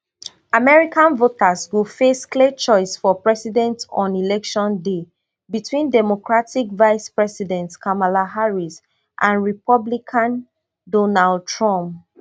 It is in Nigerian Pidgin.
american voters go face clear choice for president on election day between democratic vicepresident kamala harris and republican donald trump